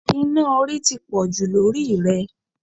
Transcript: Iná orí ti pọ̀jù lórí ì rẹ̀